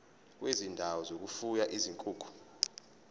kwezindawo zokufuya izinkukhu